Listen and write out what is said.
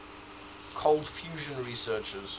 cold fusion researchers